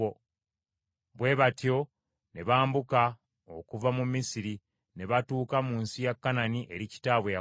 Bwe batyo ne bambuka okuva mu Misiri ne batuuka mu nsi ya Kanani eri kitaabwe Yakobo.